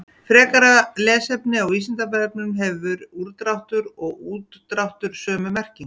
Frekara lesefni á Vísindavefnum: Hefur úrdráttur og útdráttur sömu merkingu?